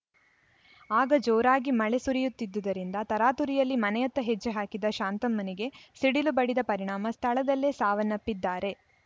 ಆಗ ಜೋರಾಗಿ ಮಳೆ ಸುರಿಯುತ್ತಿದ್ದುದರಿಂದ ತರಾತುರಿಯಲ್ಲಿ ಮನೆಯತ್ತ ಹೆಜ್ಜೆ ಹಾಕಿದ್ದ ಶಾಂತಮ್ಮನಿಗೆ ಸಿಡಿಲು ಬಡಿದ ಪರಿಣಾಮ ಸ್ಥಳದಲ್ಲೇ ಸಾವನ್ನಪ್ಪಿದ್ದಾರೆ